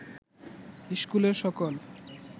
ইস্কুলের সকল